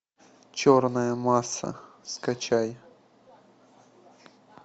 черная масса скачай